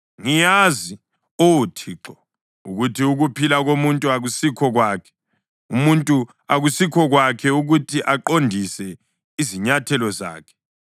Ngiyazi, Oh Thixo, ukuthi ukuphila komuntu akusikho kwakhe, umuntu akusikho kwakhe ukuthi aqondise izinyathelo zakhe.